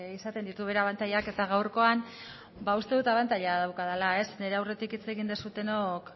izatean ditu bere abantailak eta gaurkoan ba uste dut abantaila daukadala nire aurretik hitz egin duzuenok